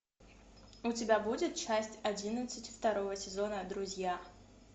у тебя будет часть одиннадцать второго сезона друзья